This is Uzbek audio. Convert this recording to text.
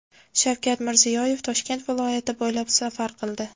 Shavkat Mirziyoyev Toshkent viloyati bo‘ylab safar qildi.